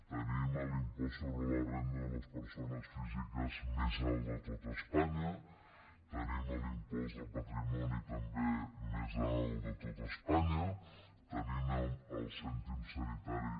tenim l’impost sobre la renda de les persones físiques més alt de tot espanya tenim l’impost del patrimoni també més alt de tot espanya tenim el cèntim sanitari